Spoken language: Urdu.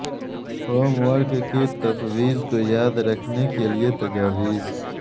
ہوم ورک کی تفویض کو یاد رکھنے کے لئے تجاویز